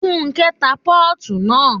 Fúnkẹ́ ta pọ́ọ̀tù naa